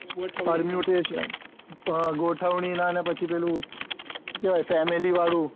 ગોઠવણી ના ને પછી પેલું સુ કેવાય family વાળું